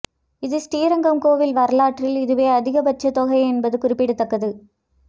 இது ஸ்ரீரங்கம் கோயில் வரலாற்றில் இதுவே அதிகபட்ச தொகை என்பது குறிப்பிடத்தக்கது